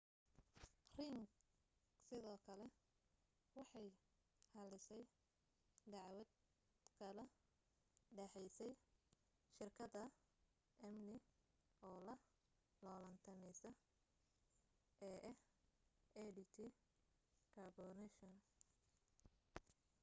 ring sidoo kale waxay xallisay dacwad kala dhexaysay shirkad amni oo la loolantamaysay ee ah adt corporation